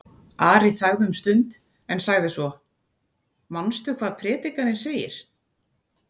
Ari þagði um stund en sagði svo: Manstu hvað Predikarinn segir?